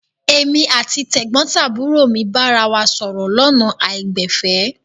Èmi àti tẹ̀gbọ́ntàbúrò mi bára wa sọ̀rọ̀ lọ́nà àìgbẹ̀fẹ̀.